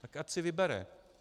Tak ať si vybere.